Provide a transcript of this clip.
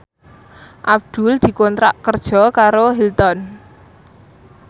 Abdul dikontrak kerja karo Hilton